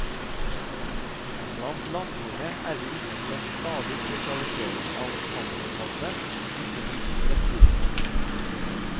Blant landdyrene er vi vitne til en stadig spesialisering av panserpaddene, og ikke minst reptilene.